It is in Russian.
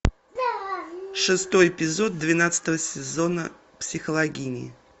шестой эпизод двенадцатого сезона психологини